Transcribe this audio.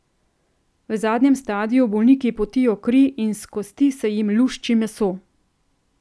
V zadnjem stadiju bolniki potijo kri in s kosti se jim lušči meso.